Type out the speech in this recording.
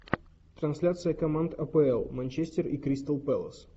трансляция команд апл манчестер и кристал пэлас